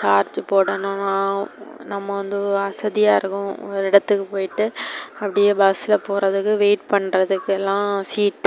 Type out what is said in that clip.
charge போடணு நம்ம வந்து வசதியா இருக்கு ஒரு இடத்துக்கு போயிட்டு அப்டியே bus ல போறதுக்கு wait பண்றதுக்குலாம் seat